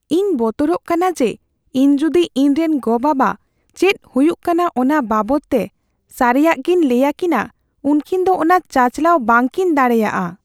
ᱤᱧ ᱵᱚᱛᱚᱨᱚᱜ ᱠᱟᱱᱟ ᱡᱮ ᱤᱧ ᱡᱩᱫᱤ ᱤᱧᱨᱮᱱ ᱜᱚᱼᱵᱟᱵᱟ ᱪᱮᱫ ᱦᱩᱭᱩᱜ ᱠᱟᱱᱟ ᱚᱱᱟ ᱵᱟᱵᱚᱫᱛᱮ ᱥᱟᱹᱨᱤᱭᱟᱜᱤᱧ ᱞᱟᱹᱭᱟᱠᱤᱱᱟ, ᱩᱝᱠᱤᱱ ᱫᱚ ᱚᱱᱟ ᱪᱟᱪᱟᱞᱟᱣ ᱵᱟᱝᱠᱤᱱ ᱫᱟᱲᱮᱭᱟᱜᱼᱟ ᱾